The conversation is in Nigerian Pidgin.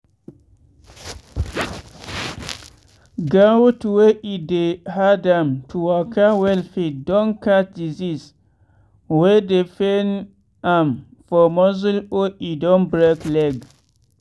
goat wey e dey hard am to waka well fit don catch disease wey dey pain am for muscle or e don break leg.